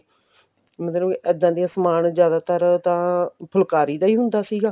ਮਤਲਬ ਇੱਦਾਂ ਦੇ ਸਮਾਨ ਜਿਆਦਾਤਰ ਤਾਂ ਫੁੱਲਕਾਰੀ ਦਾ ਹੀ ਹੁੰਦਾ ਸੀਗਾ